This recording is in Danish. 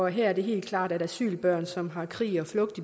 her er det helt klart at asylbørn som har krig og flugt